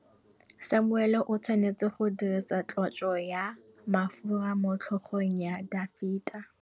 Samuele o tshwanetse go dirisa tlotsô ya mafura motlhôgong ya Dafita.